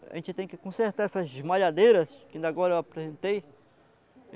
a gente tem que consertar essas esmalhadeiras que ainda agora eu apresentei.